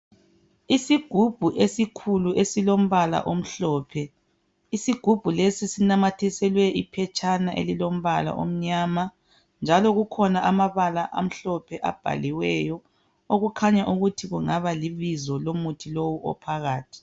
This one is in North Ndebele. Isigubhu esikhulu esilombala omhlophe. Isigubhu lesi sinamathiselwe iphetshana elilombala omnyama njalo kukhona amabala amhlophe abhaliweyo okukhanya ukuthi kungaba libizo lomuthi lowu ophakathi.